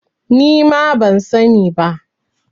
Nima ban sani ba